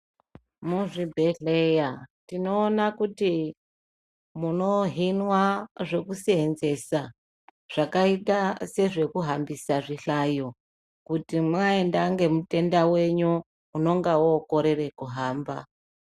Muzvibhedhleya tinoona kuti munohinwa zvekuseenzesa zvakaita sezvekuhambisa zvihlayo kuti mwaenda ngemutenda wenyu unenga wokorera kuhamba.